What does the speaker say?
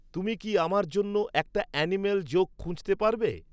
তুমি কি আমার জন্য একটা অ্যানিম্যাল জোক খুঁজতে পারবে